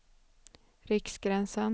Riksgränsen